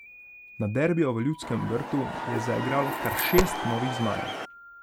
Na derbiju v Ljudskem vrtu je zaigralo kar šest novih zmajev.